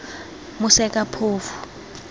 mosekaphofu